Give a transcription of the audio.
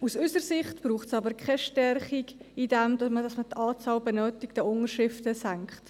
Aus unserer Sicht braucht es aber keine Stärkung dadurch, dass man die Anzahl an benötigten Unterschriften senkt.